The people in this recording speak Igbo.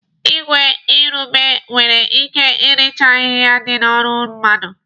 Igwe igurube nwere ike irichaa ahịhịa dị n'ọrụ mmadụ.